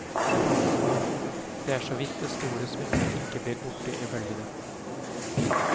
Det er så vidt det store smykket ikke blir borte i bølgene.